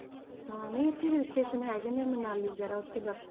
ਹਾਂ ਨਹੀਂ ਇੱਥੇ hill station ਹੈਗੇ ਨੇ ਮਨਾਲੀ ਵਗ਼ੈਰਾ ਉੱਥੇ ਬਰਫ਼,